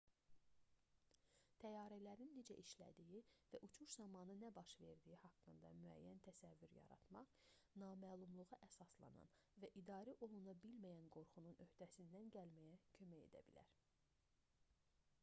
təyyarələrin necə işlədiyi və uçuş zamanı nə baş verdiyi haqqında müəyyən təsəvvür yaratmaq naməlumluğa əsaslanan və idarə oluna bilməyən qorxunun öhdəsindən gəlməyə kömək edə bilər